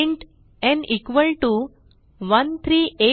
int n equal to 13876